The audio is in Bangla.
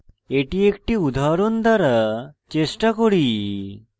এটি একটি উদাহরণ দ্বারা চেষ্টা করি